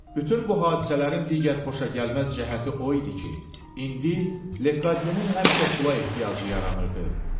Bütün bu hadisələrin digər xoşagəlməz cəhəti o idi ki, indi Lekadyenin həmişə pula ehtiyacı yaranırdı.